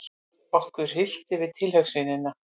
Okkur hryllti við tilhugsuninni.